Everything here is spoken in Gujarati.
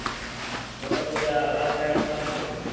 તોતો પછી આ રાસાયણિક ખાતરો